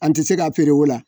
An tii se k'a feere o la